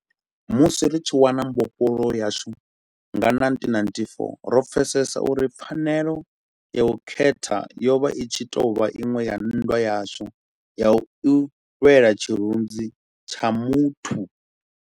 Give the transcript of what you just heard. Musi ri tshi wana mbofholowo yashu nga 1994, ro pfesesa uri pfanelo ya u khetha yo vha itshi tou vha iṅwe ya nndwa yashu ya u lwela tshirunzi tsha muthu.